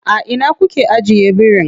A ina kuke ajiye birin?